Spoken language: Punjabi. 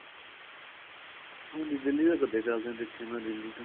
ਹਾਂਜੀ ਦਿੱਲੀ ਚ ਤਾਂ ਕੱਦੇ ਚੱਲਦੇ ਏ ਦੇਖੇ ਆ ਮੈਂ ਦਿੱਲੀ ਚ